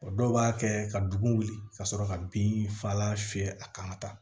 O dɔw b'a kɛ ka dugu wuli ka sɔrɔ ka bin fagalan fiyɛ a kan ka taa